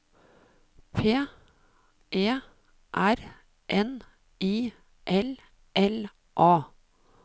P E R N I L L A